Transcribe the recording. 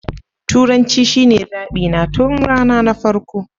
Turanci shine zaɓi na tun rana na farko.